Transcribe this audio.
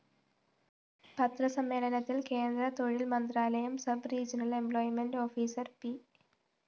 പത്രസമ്മേളനത്തില്‍ കേന്ദ്രതൊഴില്‍ മന്ത്രാലയം sub regional employment officer P